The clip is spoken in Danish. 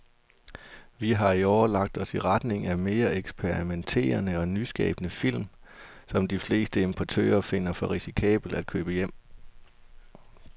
Vi har i år lagt os i retning af mere eksperimenterede og nyskabende film, som de fleste importører finder for risikable at købe hjem.